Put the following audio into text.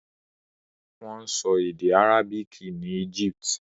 Wọ́n sọ èdè àrábìkì ní Egypt.